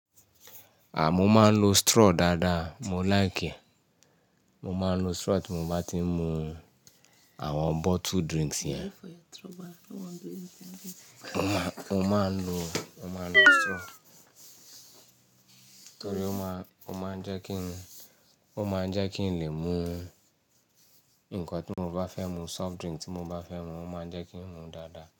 À, mo máa ń lo straw dáadáa, mo like ẹ. Mo máa ń lo strọ tí mo bá ti ń mu àwọn bottle drinks yẹn. Mo máa ń lo, mo máa ń lo straw torí ó máa, ó máa ń jẹ́ kí n, ó máa ń jẹ́ kí n lè mu nǹkan tí mo bá fẹ́ mu, soft drink tí mo bá fẹ́ mu, ó máa ń jẹ́ kí ń mu dáadáa.